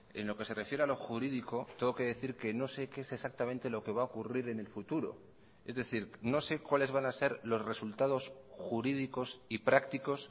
en lo que se refiere a lo jurídico tengo que decir que no sé qué es exactamente lo que va a ocurrir en el futuro es decir no sé cuáles van a ser los resultados jurídicos y prácticos